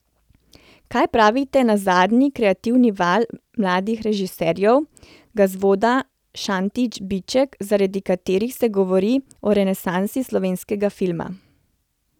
Kaj pravite na zadnji kreativni val mladih režiserjev, Gazvoda, Šantić, Biček, zaradi katerih se govori o renesansi slovenskega filma?